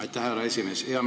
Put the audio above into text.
Aitäh, härra esimees!